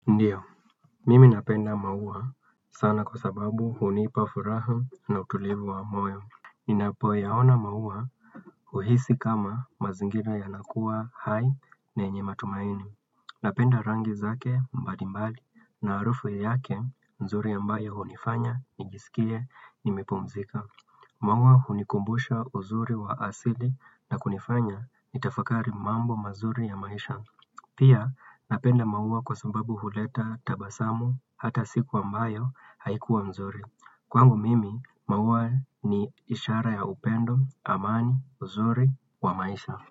Ndiyo, mimi napenda maua sana kwa sababu hunipa furaha na utulivu wa moyo Ninapo yaona maua huhisi kama mazingira yanakuwa hai na yenye matumaini Napenda rangi zake mbali mbali na harufu yake nzuri ambayo hunifanya nijisikie nimepumzika Mwangwa hunikumbusha uzuri wa asili na kunifanya nitafakari mambo mazuri ya maisha Pia napenda maua kwa sababu huleta tabasamu hata siku ambayo haikuwa mzuri. Kwangu mimi, maua ni ishara ya upendo, amani, mzuri, wa maisha.